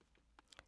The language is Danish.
DR2